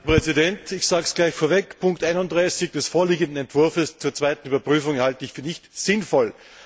Herr Präsident! Ich sage es gleich vorweg Punkt 31 des vorliegenden Entwurfs zur zweiten Überprüfung halte ich nicht für sinnvoll.